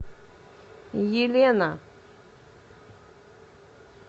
елена